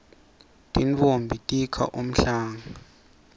tintfombi tikha umhlanga